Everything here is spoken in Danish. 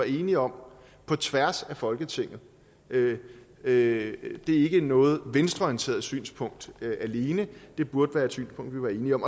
enige om på tværs af folketinget det er ikke noget venstreorienteret synspunkt alene det burde være et synspunkt vi er enige om